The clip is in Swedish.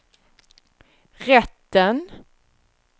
rätten